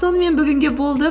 сонымен бүгінге болды